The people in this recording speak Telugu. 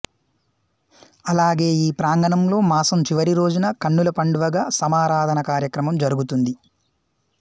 అలాగే ఈ ప్రాంగణంలో మాసం చివరి రోజున కన్నులు పండువగా సమారాధన కార్యక్రమం జరుగుతుంది